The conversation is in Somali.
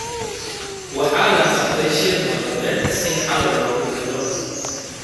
Waxaa la qabtay shir nabadeed si xal loogu helo.